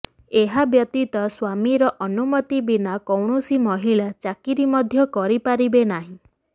ଏହା ବ୍ୟତୀତ ସ୍ୱାମୀର ଅନୁମତି ବିନା କୌଣସି ମହିଳା ଚାକିରି ମଧ୍ୟ କରିପାରିବେ ନାହିଁ